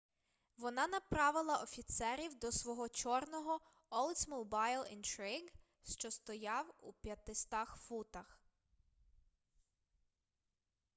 вона направила офіцерів до свого чорного oldsmobile intrigue що стояв у 500 футах